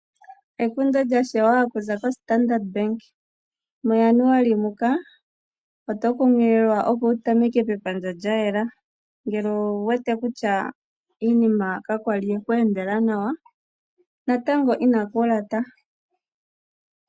Ekundo lyashewa okuza koStandard Bank muJanuali muka oto kunkililwa opo wu tameke pepandja lya yela ngele owu wete kutya iinima ka kwali yeku endela nawa natango inaku lata.